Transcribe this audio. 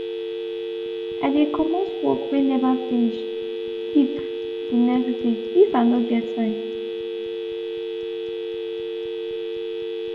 i de comot work wey never finish keep de next dey if i no get time.